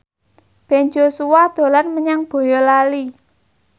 Ben Joshua dolan menyang Boyolali